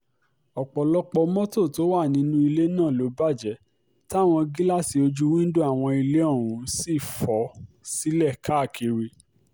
ọ̀pọ̀lọpọ̀ mọ́tò tó wà nínú ilé náà ló bàjẹ́ táwọn gíláàsì ojú wíńdò àwọn ilé ọ̀hún sì fò sílẹ̀ káàkiri